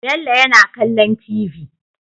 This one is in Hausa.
Bello yana kallon tv